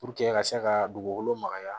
ka se ka dugukolo magaya